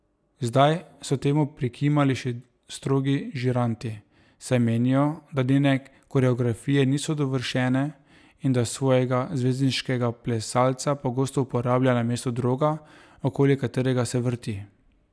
Zdaj so temu prikimali še strogi žiranti, saj menijo, da njene koreografije niso dovršene in da svojega zvezdniškega plesalca pogosto uporablja namesto droga, okoli katerega se vrti.